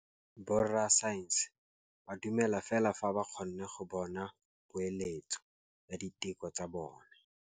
Borra saense ba dumela fela fa ba kgonne go bona poeletsô ya diteko tsa bone.